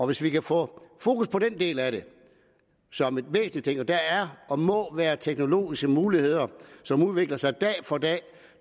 hvis vi kan få fokus på den del af det som en væsentlig ting der er og må være teknologiske muligheder som udvikler sig dag for dag